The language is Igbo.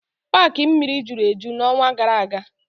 Paaki mmiri juru eju n'ọnwa gara aga.